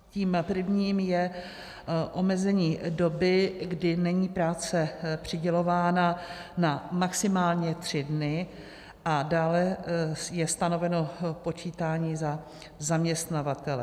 Tím prvním je omezení doby, kdy není práce přidělována na maximálně tři dny a dále je stanoveno počítání za zaměstnavatele.